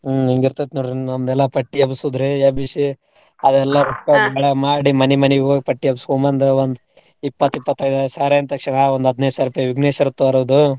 ಹ್ಮ್ ಹಿಂಗಿರ್ತೈತ್ ನೋಡ್ರಿ ಎಲ್ಲಾ ಪಟ್ಟಿ ಎಬ್ಸೋದ್ ರೀ ಎಬ್ಸಿ ಅದೆಲ್ಲ ಮಾಡಿ ಮನಿ ಮನಿಗೂ ಹೋಗಿ ಪಟ್ಟಿ ಎಬ್ಸಕೋಂಬಂದ ಒಂದ್ ಒಂದ ಇಪ್ಪತ್ ಇಪ್ಪತೈದ ಸಾವ್ರ ಅಂದ ತಕ್ಷ್ಣ್ ಒಂದ್ ಹದಿನೈದ್ ಸಾವ್ರದ್ ವಿಘ್ನೇಶ್ವರ್ ತರೂದು.